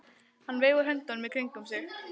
Hann veifar höndunum í kringum sig.